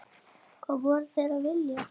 Hvað voru þeir að vilja?